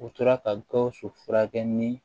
U tora ka gawusu furakɛ ni